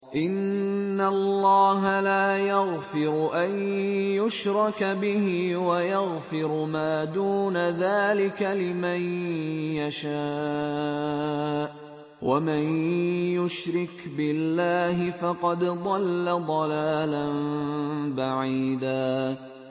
إِنَّ اللَّهَ لَا يَغْفِرُ أَن يُشْرَكَ بِهِ وَيَغْفِرُ مَا دُونَ ذَٰلِكَ لِمَن يَشَاءُ ۚ وَمَن يُشْرِكْ بِاللَّهِ فَقَدْ ضَلَّ ضَلَالًا بَعِيدًا